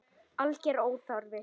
Alger óþarfi.